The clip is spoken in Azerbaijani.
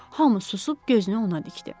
Hamı susub gözünü ona dikdi.